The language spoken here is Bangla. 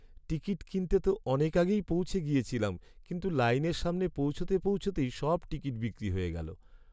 টিকিট কিনতে তো অনেক আগেই পৌঁছে গিয়েছিলাম, কিন্তু লাইনের সামনে পৌঁছতে পৌঁছতেই সব টিকিট বিক্রি হয়ে গেল।